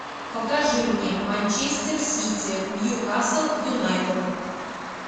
покажи мне манчестер сити ньюкасл юнайтед